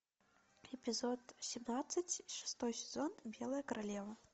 эпизод семнадцать шестой сезон белая королева